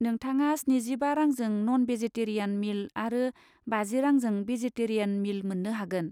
नोथांङा स्निजिबा रांजों नन भेजेटेरियान मिल आरो बाजि रांजों भेजेटेरियान मिल मोन्नो हागोन।